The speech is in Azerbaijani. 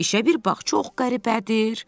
“İşə bir bax, çox qəribədir.”